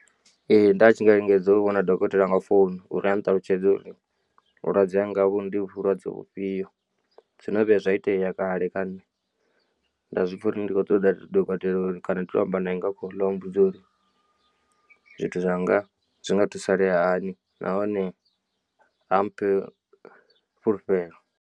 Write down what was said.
Ee nda tshi nga lingedza u vhona dokotela nga founu uri a nṱalutshedze uri vhulwadze hanga ndi vhulwadze vhufhio, zwono vhuya zwaitea kale kha nṋe nda zwi pfha uri ndi khou u ṱoḓa dokotela uri kana ndi to amba nae nga khoḽo a mmbudze uri zwithu zwanga zwinga thusalea hani nahone a mphe fhulufhelo.